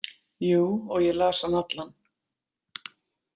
Jú, og ég las hann allan.